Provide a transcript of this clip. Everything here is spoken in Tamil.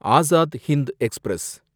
அசாத் ஹிந்த் எக்ஸ்பிரஸ்